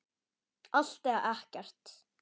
Allt eða ekkert.